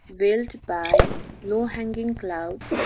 built by low hanging clouds.